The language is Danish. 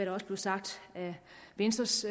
også blev sagt af venstres